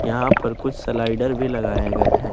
यहां पर कुछ स्लाइडर भी लगाए गए हैं।